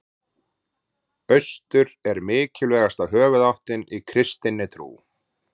Austur er mikilvægasta höfuðáttin í kristinni trú.